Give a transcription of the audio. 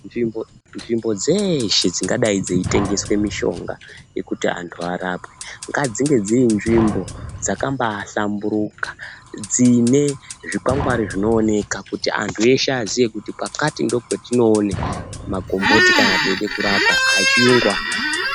Nzvimbo dzeshe dzingadai dzeitengeswa mushonga kuti antu arapwe. Ngadzinge dzirinzvimbo dzakambahlamburuka dzine zvikwangwari zvinooneka kuti antu eshe aziye kuti kwakati ndokwatinoone makomboti kana teide kurapwa echiyungu anaya.